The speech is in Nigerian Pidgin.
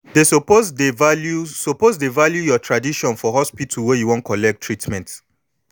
dey suppose dey value suppose dey value your tradition for hospital wey you wan collect treatment